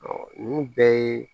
ninnu bɛɛ ye